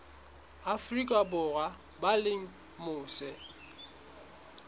afrika borwa ba leng mose